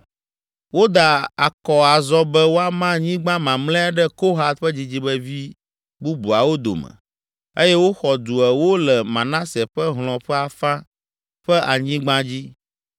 Woda akɔ azɔ be woama anyigba mamlɛa ɖe Kohat ƒe dzidzimevi bubuawo dome eye woxɔ du ewo le Manase ƒe hlɔ̃ ƒe afã ƒe anyigba dzi.